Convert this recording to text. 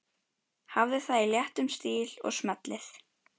Hafðu það í léttum stíl og smellið